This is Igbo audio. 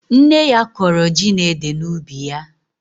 Nne ya kọrọ ji na ede n'ubi ya.